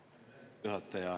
Aitäh, hea juhataja!